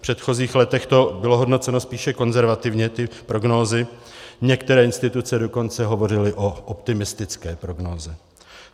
V předchozích letech to bylo hodnoceno spíše konzervativně, ty prognózy, některé instituce dokonce hovořily o optimistické prognóze.